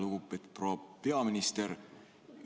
Lugupeetud proua peaminister!